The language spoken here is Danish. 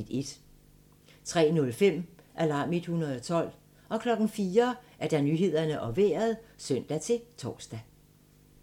03:05: Alarm 112 04:00: Nyhederne og Vejret (søn-tor)